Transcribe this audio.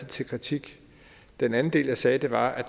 til kritik den anden del jeg sagde var at